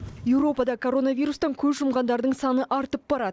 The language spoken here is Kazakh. еуропада коронавирустан көз жұмғандардың саны артып барады